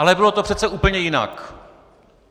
Ale bylo to přece úplně jinak.